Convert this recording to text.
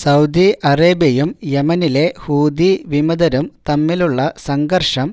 Saudi അറേബ്യയും യെമനിലെ ഹൂതി വിമതരും തമ്മിലുള്ള സംഘർഷം